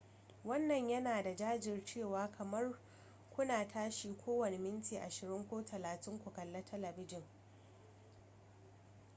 wannan yana da gajiyarwa kamar kuna tashi kowane minti ashirin ko talatin ku kalli talabijin